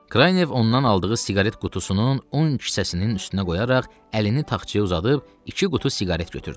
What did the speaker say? Kraynev ondan aldığı siqaret qutusunun on kisəsinin üstünə qoyaraq əlini taxçaya uzadıb iki qutu siqaret götürdü.